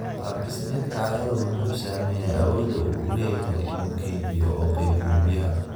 Qaab dhismeedka carradu wuxuu saameeyaa awooda uu u leeyahay inuu kaydiyo oo qaybiyo biyaha.